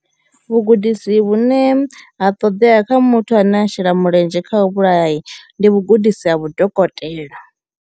Vhugudisi vhune ha ṱodea kha muthu ane a shela mulenzhe kha u vhulayai ndi vhugudisi ha vhudokotela.